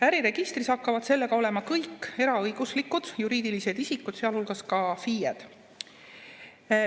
Äriregistris hakkavad sellega olema kõik eraõiguslikud juriidilised isikud, sealhulgas ka FIE-d.